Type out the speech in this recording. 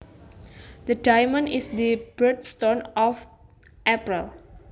The diamond is the birthstone of April